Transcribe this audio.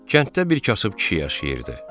Kənddə bir kasıb kişi yaşayırdı.